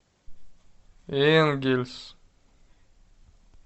энгельс